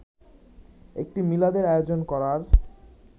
একটি মিলাদের আয়োজন করার